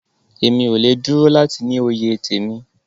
Emi o le dúró láti ní òye temí.